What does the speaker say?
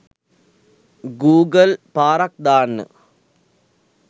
Google පාරක් දාන්න.